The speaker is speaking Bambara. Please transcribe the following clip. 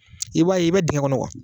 I b'a ye i bɛ dingɛ kɔnɔ